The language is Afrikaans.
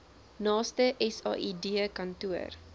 naaste said kantoor